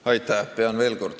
Aitäh!